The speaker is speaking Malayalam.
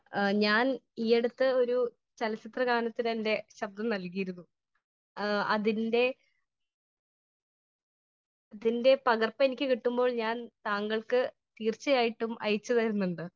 സ്പീക്കർ 1 ഞാൻ ഈ അടുത്ത് ഒരു ചലച്ചിത്ര ഗാനത്തിന് എന്റെ ശബ്ദം നല്കിയിരുന്നു. എ അതിന്റെ അതിന്റെ പകർപ്പ് എനിക്ക് കിട്ടുമ്പോൾ ഞാൻ താങ്കൾക്ക് തീർച്ചയായിട്ടും അയച്ചു തരുന്നുണ്ട് .